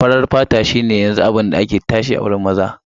Farar fata shi ne yanzu abun da ke tashe a wajen mata.